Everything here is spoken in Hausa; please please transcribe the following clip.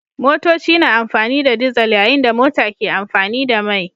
Motoci na amfani da dizal yayin da mota ke amfani da mai